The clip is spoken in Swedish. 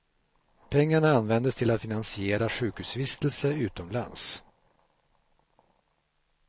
Pengarna användes till att finansiera sjukhusvistelse utomlands.